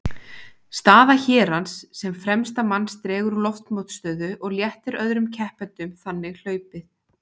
Staða hérans sem fremsta manns dregur úr loftmótstöðu og léttir öðrum keppendum þannig hlaupið.